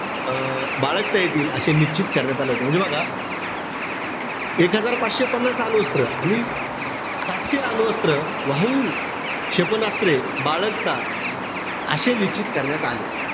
अं बाळगता येतील असे निश्चित करण्यात आले होते. म्हणजे बघा, एक हजार पाचशे अणुअस्त्र नि सातशे अणुअस्त्र वाहू क्षेपणास्त्रे बाळगता असे निश्चित करण्यात आले.